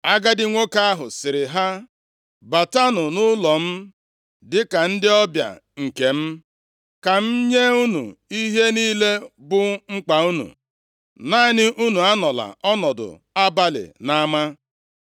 Agadi nwoke ahụ sịrị ha, “Batanụ nʼụlọ m dịka ndị ọbịa nke m. Ka m nye unu ihe niile bụ mkpa unu. Naanị unu anọla ọnọdụ abalị nʼama.”